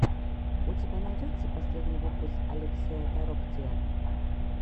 у тебя найдется последний выпуск олексия тороктия